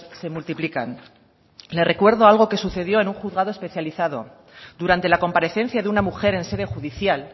se multiplican le recuerdo algo que sucedió en un juzgado especializado durante la comparecencia de una mujer en sede judicial